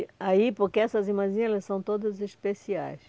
aí, porque essas irmãzinhas, elas são todas especiais.